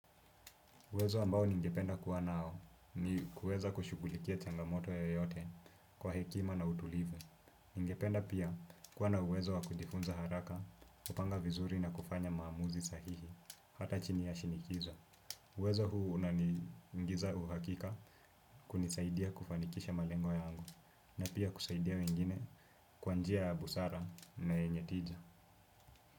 Uwezo ambao ningependa kuwa nao ni kuweza kushughulikia changamoto yoyote kwa hekima na utulivu. Ningependa pia kuwa na uwezo wa kujifunza haraka, kupanga vizuri na kufanya maamuzi sahihi, hata chini ya shinikizo. Uwezo huu unaniingiza uhakika kunisaidia kufanikisha malengo yangu na pia kusaidia wengine kwa njia ya busara na yenye tija.